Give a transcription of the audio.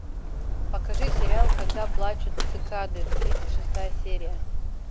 покажи сериал когда плачут цикады тридцать шестая серия